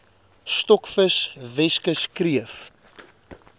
stokvis weskus kreef